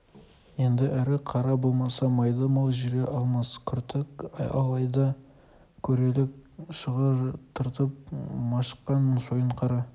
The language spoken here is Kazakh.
еді ірі қара болмаса майда мал жүре алмас күртік ал айда көрелік шығыр тартып машыққан шойынқара